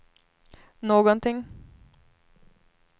någonting